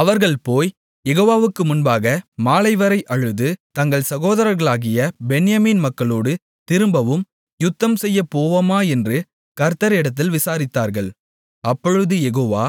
அவர்கள் போய் யெகோவாவுக்கு முன்பாக மாலைவரை அழுது எங்கள் சகோதரர்களாகிய பென்யமீன் மக்களோடு திரும்பவும் யுத்தம் செய்யப்போவோமா என்று கர்த்தரிடத்தில் விசாரித்தார்கள் அப்பொழுது யெகோவா